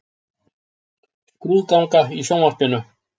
Skrúðganga í sjónvarpinu.